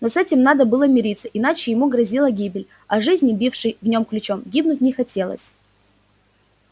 но с этим надо было мириться иначе ему грозила гибель а жизни бившей в нем ключом гибнуть не хотелось